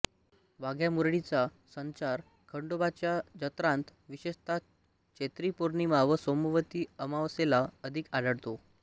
वाघ्यामुरळींचा संचार खंडोबाच्या जत्रांत विशेषतः चैत्री पौर्णिमा व सोमवती अमावस्येला अधिक आढळतो